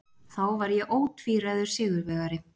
Þá var ég ótvíræður sigurvegari.